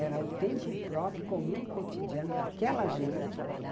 Era o tempo próprio, comum e cotidiano daquela gente.